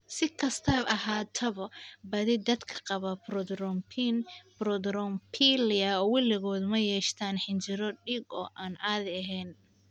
Si kastaba ha ahaatee, badi dadka qaba prothrombin thrombophilia weligood ma yeeshaan xinjiro dhiig oo aan caadi ahayn.